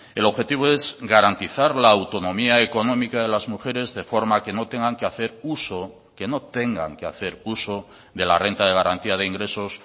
el objetivo es garantizar la autonomía económica de las mujeres de forma que no tengan que hacer uso que no tengan que hacer uso de la renta de garantía de ingresos